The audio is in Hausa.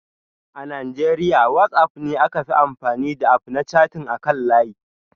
A Najeriya WhatsApp ne aka fi amfani da App na chatting akan layi